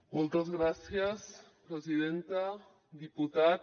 moltes gràcies presidenta diputat